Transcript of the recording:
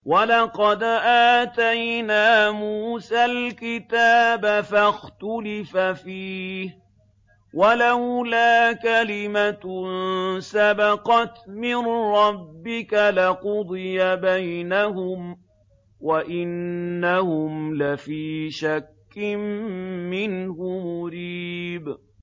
وَلَقَدْ آتَيْنَا مُوسَى الْكِتَابَ فَاخْتُلِفَ فِيهِ ۗ وَلَوْلَا كَلِمَةٌ سَبَقَتْ مِن رَّبِّكَ لَقُضِيَ بَيْنَهُمْ ۚ وَإِنَّهُمْ لَفِي شَكٍّ مِّنْهُ مُرِيبٍ